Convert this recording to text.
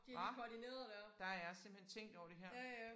Hva der er simpelthen tænkt over det her